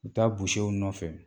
U taa nɔfɛ